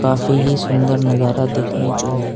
काफी ही सुंदर नजारा देखने को है।